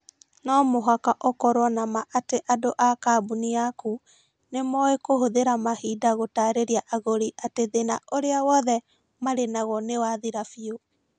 No mũhaka ũkorũo na ma atĩ andũ a kambuni yaku nĩ moĩ kũhũthĩra mahinda gũtaarĩria agũri atĩ thĩna ũria wothe marĩ naguo nĩ wathira biũ.